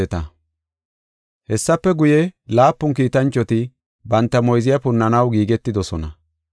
Hessafe guye, laapun kiitanchoti banta moyziya punnanaw giigetidosona.